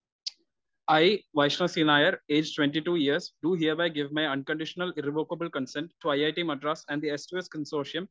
speaker 1 I Vaishnav C Nair age twenty two years do hereby give my unconditional revocable consent to I IIT Madras and